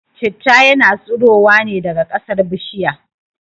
Citta yana tsurowa ne daga kasar bishirya